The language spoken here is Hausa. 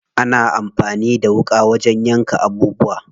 Ana amfani da wuƙa wajen yanka abubuwa.